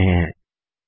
का उपयोग कर रहे हैं